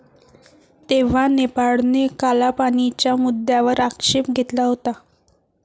तेव्हा नेपाळने कालापानीच्या मुद्द्यावर आक्षेप घेतला होता.